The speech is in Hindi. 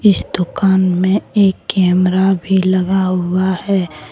इस दुकान में एक कैमरा भी लगा हुआ है।